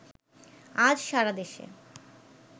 আজ সারাদেশে